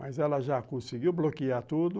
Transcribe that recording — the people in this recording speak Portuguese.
Mas ela já conseguiu bloquear tudo.